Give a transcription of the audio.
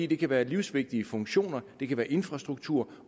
det kan være livsvigtige funktioner det kan være infrastruktur